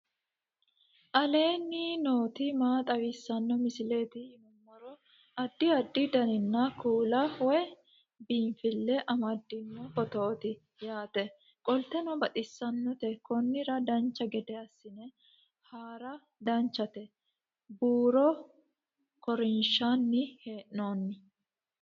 aleenni nooti maa xawisanno misileeti yinummoro addi addi dananna kuula woy biinsille amaddino footooti yaate qoltenno baxissannote konnira dancha gede assine haara danchate buuro korinshanni hee'noonni